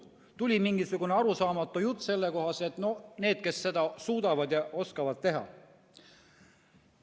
Tuli mingisugune arusaamatu jutt sellest, et kaevandavad need, kes seda suudavad ja oskavad teha.